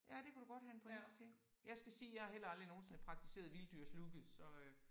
Ja det kunne du godt have en pointe til. Jeg skal sige jeg har heller aldrig nogensinde praktiseret vilddyrslooket så øh